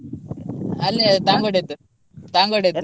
ಅಲ್ಲೇ ದಾಂಗುಡೆಯದ್ದು ದಾಂಗುಡೆಯದ್ದು.